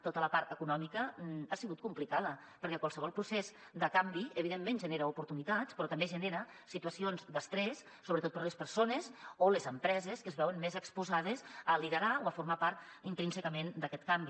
tota la part econòmica ha sigut complicada perquè qualsevol procés de canvi evidentment genera oportunitats però també genera situacions d’estrès sobretot per a les persones o les empreses que es veuen més exposades a liderar o a formar part intrínsecament d’aquest canvi